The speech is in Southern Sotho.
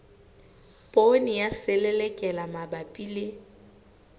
poone ya selelekela mabapi le